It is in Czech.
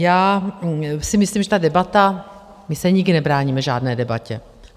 Já si myslím, že ta debata - my se nikdy nebráníme žádné debatě.